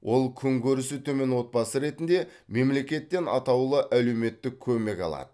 ол күнкөрісі төмен отбасы ретінде мемлекеттен атаулы әлеуметтік көмек алады